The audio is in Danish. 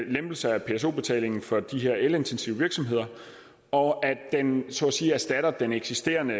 lempelse af pso betalingen for de her elintensive virksomheder og at den så at sige erstatter den eksisterende